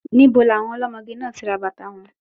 Níbo ni àwọn ọlọ́mọge náà ti rà bàtàa wọn?